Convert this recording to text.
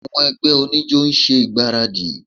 Àwọn ẹgbẹ́ oníjó ń ṣe ìgbáradì